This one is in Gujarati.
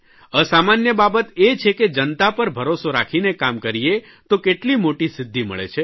અસામાન્ય બાબત એ છે કે જનતા પર ભરોસો રાખીને કામ કરીએ તો કેટલી મોટી સિદ્ધિ મળે છે